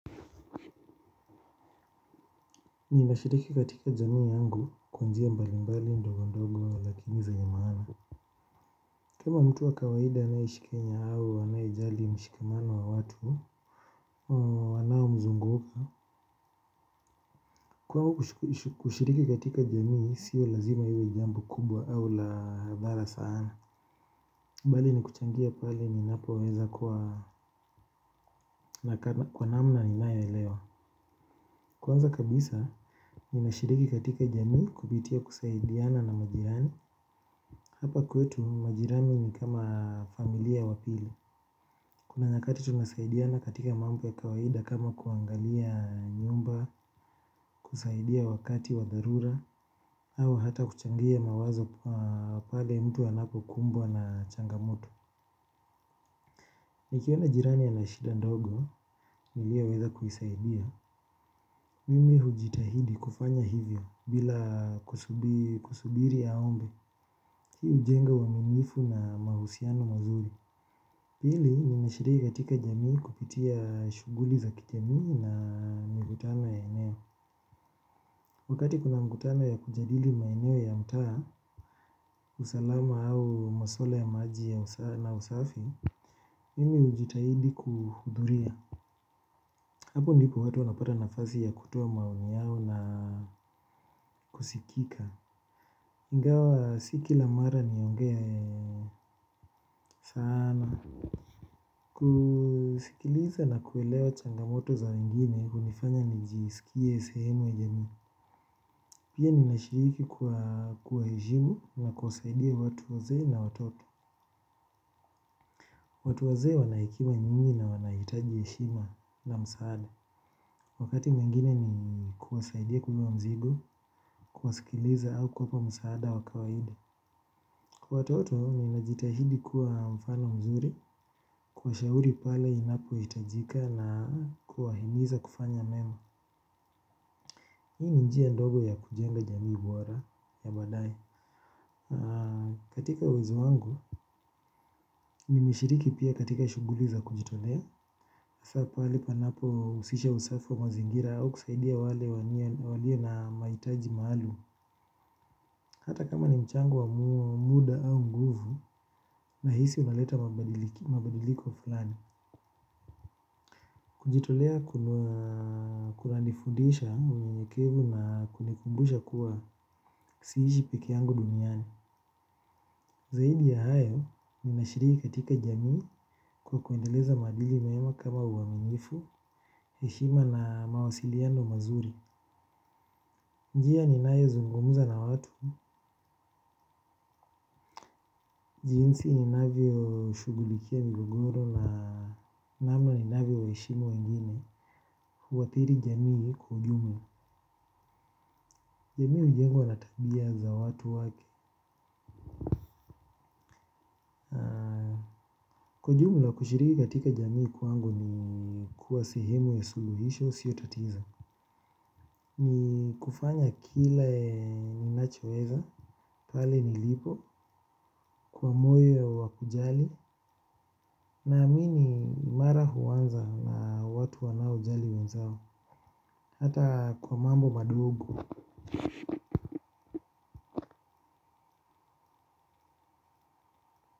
Ninashiriki katika jamii yangu kwanjia mbalimbali ndogo ndogo lakini zenye maana. Kama mtu wa kawaida anayeishi kenya au anayejali mshikamano wa watu wanao mzunguka. Kwangu kushiriki katika jamii sio lazima iwe jambo kubwa au la dhara sana. Mbali ni kuchangia pale ni napo weza kuwa na kwanamna ni nayoelewa. Kwanza kabisa, ninashiriki katika jamii kupitia kusaidiana na majirani. Hapa kwetu majirani ni kama familia wapili. Kuna nyakati tunasaidiana katika mambo ya kawaida kama kuangalia nyumba, kusaidia wakati wadharura, hau hata kuchangia mawazo pale mtu anapo kumbwa na changamoto. Nikiona jirani anashida ndogo, niliyoweza kuisaidia. Mimi hujitahidi kufanya hivyo bila kusubiri aombe. Hii ujenga uaminifu na mahusiano mazuri. Pili, nina shiriki katika jamii kupitia shuguli za kijamii na migutano yenyewe. Wakati kuna mkutana ya kujadili maeneo ya mtaa, usalama au maswala ya maji ya usafi. Mimi hujitahidi kuhudhuria. Hapo ndipo watu wanapata nafasi ya kutoa maoni yao na kusikika. Ingawa si kilamara nionge saana. Kusikiliza na kuelewa changamoto za wengine, humifanya nijisikie sehemu ya jamii. Pia nina shiriki kwa kuwahejimu na kuwasaidia watu waze na watoto. Watu wazee wana hekima nyingi na wanahitaji heshima na msaada. Wakati mwingine ni kuwasaidia kubebaa mzigo, kuwasikiliza au kuwapa msaada wakawahida. Kwa watoto, ninajitahidi kuwa mfano mzuri, kuwa shauri pale ninapo hitajika na kuwa himiza kufanya memu. Hii ni njia ndogo ya kujenga jamii bora ya baadae. Katika uwezo wangu, nimeshiriki pia katika shuguli za kujitolea hasa pale panapo husisha usafi wa mazingira au kusaidia wale walio na mahitaji maalum. Hata kama ni mchango wa muda au nguvu na hisi unaleta mabadiliko fulani. Kujitolea kuna nifundisha unyenyekevu na kunikumbusha kuwa siishi peke yangu duniani. Zaidi ya hayo, ninashiriki katika jamii kwa kuendeleza maadili meema kama uaminifu, heshima na mawasiliano mazuri. Njia ninayo zungumza na watu jinsi ninavyo shugulikia migogoro na namna ni navyo heshimu wengine huathiri jamii kwa ujumla. Jamii hujengwa natabia za watu wake. Kwa ujumla kushiriki katika jamii kwangu ni kuwa sehemu ya suluhisho sio tatizo. Ni kufanya kile ninachoeza, pale nilipo, kwa moyo wakujali. Na amini mara huanza na watu wanao jali wenzao. Hata kwa mambo madogo.